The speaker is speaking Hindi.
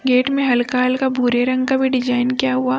गेट में हल्का हल्का भूरे रंग का भी डिजाइन किया हुआ।